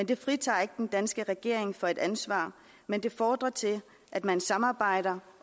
det fritager ikke den danske regering fra et ansvar men fordrer at man samarbejder